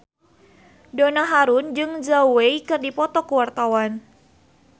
Donna Harun jeung Zhao Wei keur dipoto ku wartawan